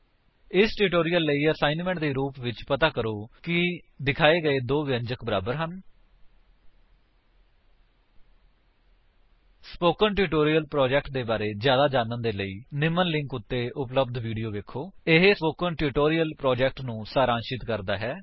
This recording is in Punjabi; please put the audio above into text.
ਇਸ ਟਿਊਟੋਰਿਅਲ ਲਈ ਅਸਾਇਣਮੈਂਟ ਦੇ ਰੂਪ ਵਿੱਚ ਪਤਾ ਕਰੋ ਕਿ ਦਿਖਾਏ ਗਏ ਦੋ ਵਿਅੰਜਕ ਬਰਾਬਰ ਹਨ160 000923 000922 ਸਪੋਕਨ ਟਿਊਟੋਰਿਅਲ ਪ੍ਰੋਜੇਕਟ ਦੇ ਬਾਰੇ ਵਿੱਚ ਜਿਆਦਾ ਜਾਨਣ ਦੇ ਲਈ http spoken tutorial org What is a Spoken Tutorial ਨਿਮਨ ਲਿੰਕ ਉੱਤੇ ਉਪਲੱਬਧ ਵੀਡੀਓ ਵੇਖੋ ਇਹ ਸਪੋਕਨ ਟਿਊਟੋਰਿਅਲ ਪ੍ਰੋਜੇਕਟ ਨੂੰ ਸਾਰਾਂਸ਼ਿਤ ਕਰਦਾ ਹੈ